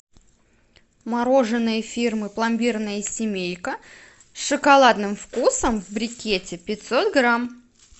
мороженое фирмы пломбирная семейка с шоколадным вкусом в брикете пятьсот грамм